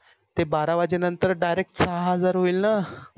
ते बारा वाजे नंतर direct सहा हजार होईल न